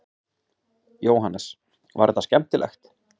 Jóhannes: Var þetta skemmtilegt?